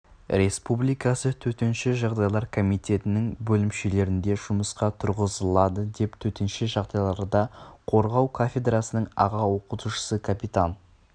республикасы төтенше жағдайлар комитетінің бөлімшелерінде жұмысқа тұрғызылады деп төтенше жағдайларда қорғау кафедрасының аға оқытушысы капитан